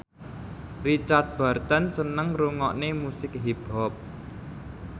Richard Burton seneng ngrungokne musik hip hop